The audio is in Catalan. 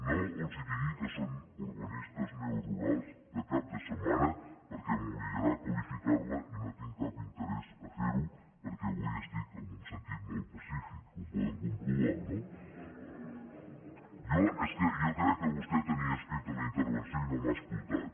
no els digui que són urbanistes neorurals de cap de setmana perquè m’obligarà a qualificar la i no tinc cap interès a fer ho perquè avui estic amb un sentit molt pacífic ho poden comprovar no jo és que jo crec que vostè tenia escrita la intervenció i no m’ha escoltat